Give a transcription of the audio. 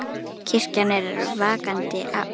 Kirkjan er vakandi afl.